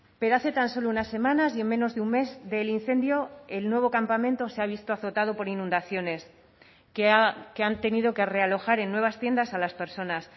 pero hace tan solo unas semanas y en menos de un mes del incendio el nuevo campamento se ha visto azotado por inundaciones que han tenido que realojar en nuevas tiendas a las personas